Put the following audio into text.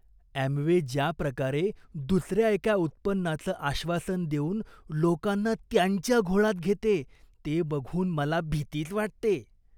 Amway ज्या प्रकारे दुसऱ्या एका उत्पन्नाचं आश्वासन देऊन लोकांना त्यांच्या घोळात घेते ते बघून मला भीतीच वाटते.